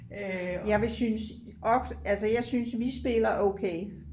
jeg vil synes altså jeg synes vi spiller okay